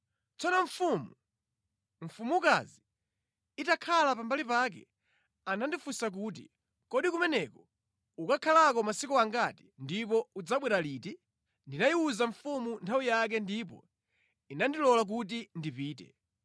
Tsono mfumu, mfumukazi itakhala pambali pake, anandifunsa kuti, “Kodi kumeneko ukakhalako masiku angati ndipo udzabwera liti?” Ndinayiwuza mfumu nthawi yake ndipo inandilola kuti ndipite.